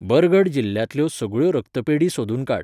बरगढ़ जिल्ल्यांतल्यो सगळ्यो रक्तपेढी सोदून काड.